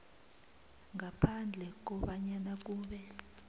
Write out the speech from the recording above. ngaphandle kobanyana kube